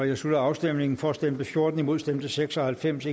jeg slutter afstemningen for stemte fjorten imod stemte seks og halvfems